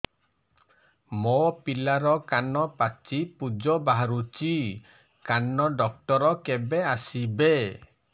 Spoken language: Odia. ମୋ ପିଲାର କାନ ପାଚି ପୂଜ ବାହାରୁଚି କାନ ଡକ୍ଟର କେବେ ଆସିବେ